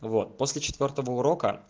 вот после четвёртого урока